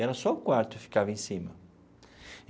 Era só o quarto que ficava em cima.